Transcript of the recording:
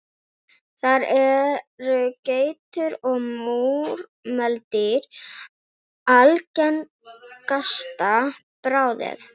Þar eru geitur og múrmeldýr algengasta bráðin.